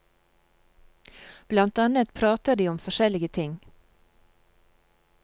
Blant annet prater de om forskjellige ting.